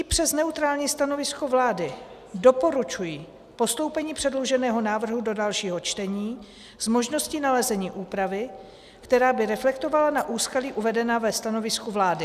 I přes neutrální stanovisko vlády doporučuji postoupení předloženého návrhu do dalšího čtení s možností nalezení úpravy, která by reflektovala na úskalí uvedená ve stanovisku vlády.